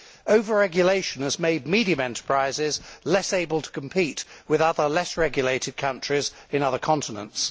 Over regulation has made medium sized enterprises less able to compete with other, less regulated countries in other continents.